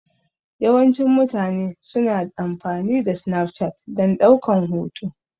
Yawancin mutane su na amfani da Snapchat dan ɗaukan hotuna